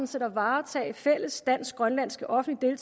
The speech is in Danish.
set at varetage den fælles dansk grønlandske offentlige